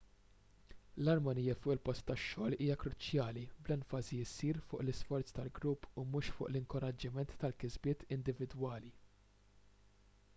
l-armonija fuq il-post tax-xogħol hija kruċjali bl-enfasi ssir fuq l-isforz tal-grupp u mhux fuq l-inkoraġġiment tal-kisbiet individwali